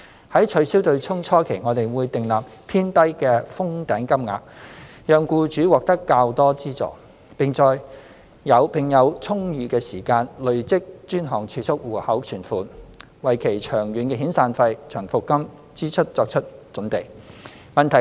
在取消"對沖"初期，我們會訂立偏低的"封頂"金額，讓僱主獲得較多資助，並有充裕的時間累積專項儲蓄戶口存款，為其長遠的遣散費/長服金支出作好準備。